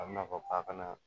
A bina fɔ k'a kana